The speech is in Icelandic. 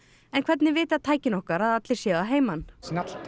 en hvernig vita tækin okkar að allir séu að heiman